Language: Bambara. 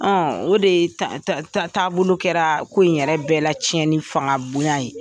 o de ta ta taabolo kɛra ko in yɛrɛ bɛɛ lacɛnni fanga bonya ye.